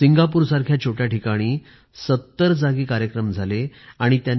Singapore सारख्या छोट्या शहरात ७०स्थानावर कार्यक्रम घेण्यात आलीत